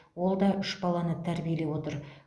ол да үш баланы тәрбиелеп отыр